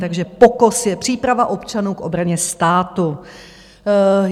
Takže POKOS je příprava občanů k obraně státu.